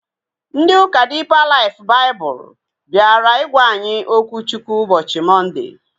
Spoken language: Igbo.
Ndị ụka Diipa Laif Baịbụl bịara ịgwa anyị okwu Chukwu ụbọchị Mọnde